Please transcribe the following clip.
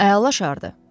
Əla şardır.